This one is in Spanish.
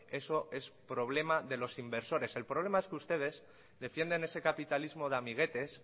eso es problema de los inversores el problema es que ustedes defienden ese capitalismo de amiguetes